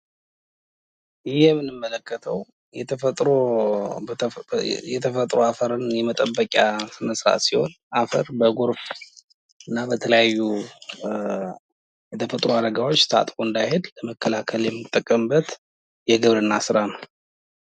ይህ የምንመለከተው የተፈጥሮ አፈርን የመጠበቂያ መሳ ሲሆን አፈር በጎርፍ እና በተለያዩ የተፈጥሮ አደጋዎች ታጥቦ እንዳይሄድ ለመከላከል የምንጠቀምበት የግብርና ስራ ነው።